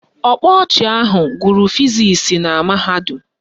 Ọkpa ọchị ahụ gụrụ fizisi na mahadum